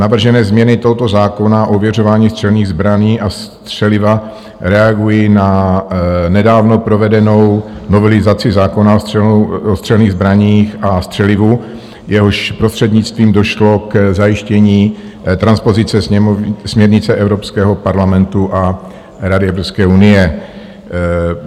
Navržené změny tohoto zákona o ověřování střelných zbraní a střeliva reagují na nedávno provedenou novelizaci zákona o střelných zbraních a střelivu, jehož prostřednictvím došlo k zajištění transpozice směrnice Evropského parlamentu a Rady Evropské unie.